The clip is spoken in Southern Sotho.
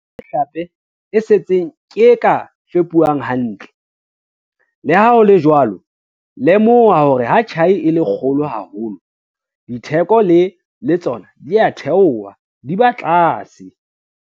Le yona mehlape e setseng ke e ka fepuwang hantle. Le ha ho le jwalo, lemoha hore ha tjhai e le kgolo haholo, ditheko le tsona di a theoha, di ba tlase.